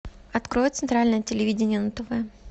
открой центральное телевидение на тв